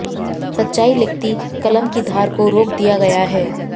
सच्चाई लिखती कलम की धार को रोक दिया गया है